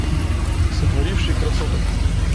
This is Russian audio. сотворивший красоток